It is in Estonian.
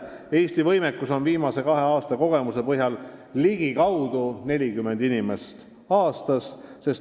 Eesti võimekus on viimase kahe aasta kogemuste põhjal ligikaudu 40 inimest aastas.